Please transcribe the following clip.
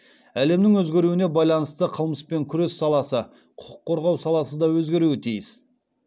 әлемнің өзгеруіне байланысты қылмыспен күрес саласы құқық қорғау саласы да өзгеруі тиіс